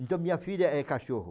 Então minha filha é cachorro.